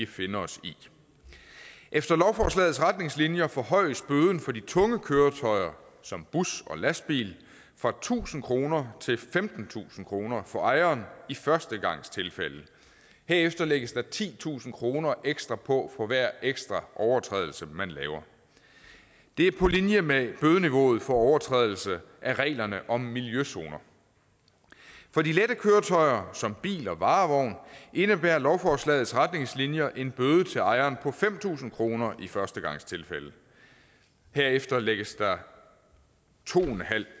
finde os i efter lovforslagets retningslinjer forhøjes bøden for de tunge køretøjer som bus og lastbil fra tusind kroner til femtentusind kroner for ejeren i førstegangstilfælde herefter lægges der titusind kroner ekstra på for hver ekstra overtrædelse man laver det er på linje med bødeniveauet for overtrædelse af reglerne om miljøzoner for de lette køretøjer som bil og varevogn indebærer lovforslagets retningslinjer en bøde til ejeren på fem tusind kroner i førstegangstilfælde herefter lægges der to